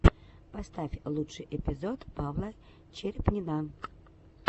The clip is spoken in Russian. поставь лучший эпизод павла черепнина